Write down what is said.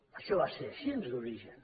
això va ser així d’origen